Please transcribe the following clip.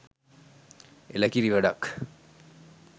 එල කිරි වැඩක්!